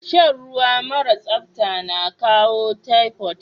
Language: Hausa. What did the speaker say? Shan ruwa mara sapta na kawo typhoid.